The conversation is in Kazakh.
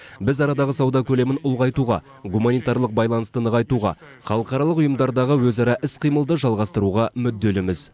біз арадағы сауда көлемін ұлғайтуға гуманитарлық байланысты нығайтуға халықаралық ұйымдардағы өзара іс қимылды жалғастыруға мүдделіміз